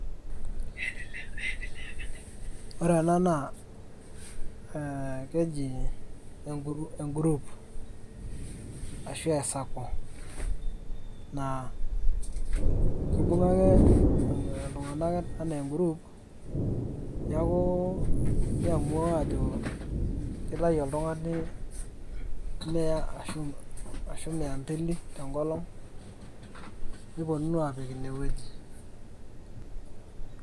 ore ena naa, keji e group ,ashu e sacco .naa kibunga ake iltunganak anaa e group ,nitamuaa ajo kitayu oltung'ani mia mbili ashu mia te nkolong' nipuonunu aapik ine wueji.